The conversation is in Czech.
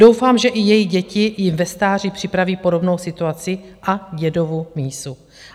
Doufám, že i jejich děti jim ve stáří připraví podobnou situaci a Dědovu mísu.